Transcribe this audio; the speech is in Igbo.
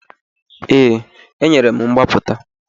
Ee, enyere m mgbapụta.